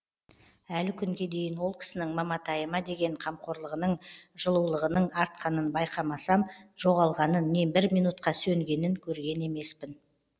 әлі күнге дейін ол кісінің маматайыма деген қамқорлығының жылулығының артқанын байқамасам жоғалғанын не бір минутқа сөнгенін көрген емеспін